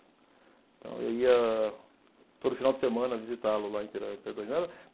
Então eu ia todo final de semana visitá-lo lá em Perdões.